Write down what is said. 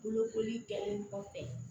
Bolokoli kɛli kɔfɛ